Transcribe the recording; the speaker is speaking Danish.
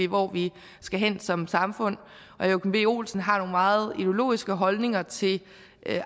hvor vi skal hen som samfund herre joachim b olsen har nogle meget ideologiske holdninger til